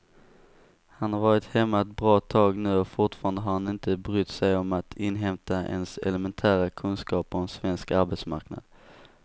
Han har varit hemma ett bra tag nu och fortfarande har han inte brytt sig om att inhämta ens elementära kunskaper om svensk arbetsmarknad.